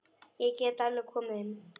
Ég get alveg komið inn.